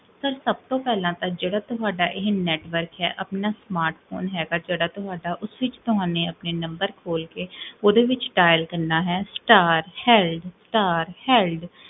Sir, ਸਬ ਤੋਂ ਪੇਹ੍ਲਾਂ ਤਾਂ ਜੇਹੜਾ ਤੁਹਾਡਾ ਇਹ network ਹੈ, ਆਪਣਾ smartphone ਹੈਗਾ ਜੇਹੜਾ ਤੁਹਾਡਾ, ਉਸ ਵਿੱਚ ਤੁਹਾਨੇ ਆਪਣੇ ਨੁਮ੍ਬਰ ਖੋਲ ਕੇ, ਓਦੇ ਵਿੱਚ dial ਕਰਨਾ ਹੈ ਸਟਾਰ ਹੇਲ੍ਡ ਸਟਾਰ ਹੇਲ੍ਡ